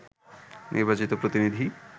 নির্বাচিত প্রতিনিধি